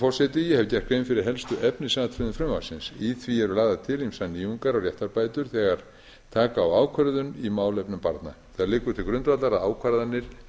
forseti ég hef gert grein fyrir helstu efnisatriðum frumvarpsins í því eru lagðar til ýmsar nýjungar og réttarbætur þegar taka á ákvörðun í málefnum barna það liggur til grundvallar að ákvarðanir